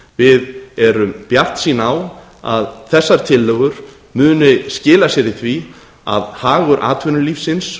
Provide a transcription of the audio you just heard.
við erum bjartsýn á að þessar tillögur muni skila sér í því að hagur atvinnulífsins